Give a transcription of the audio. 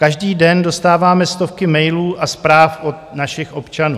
Každý den dostáváme stovky mailů a zpráv od našich občanů.